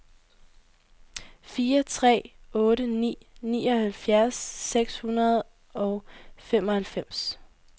fire tre otte ni nioghalvfjerds seks hundrede og femoghalvfems